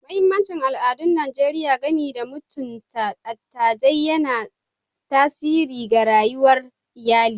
Mahimmancin al'adun Najeriya game da mutunta dattijai yana tasiri ga rayuwar iyali.